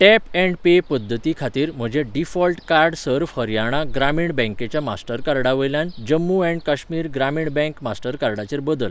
Tap and pay पद्दती खातीर म्हजें डिफॉल्ट कार्ड सर्व हरियाणा ग्रामीण बँकेच्या मास्टरकार्डा वयल्यान जम्मू ऍण्ड काश्मीर ग्रामीण बँक मास्टर कार्डाचेर बदल.